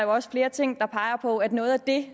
også flere ting der peger på at noget af det